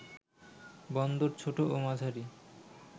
বন্দর ছোট ও মাঝারি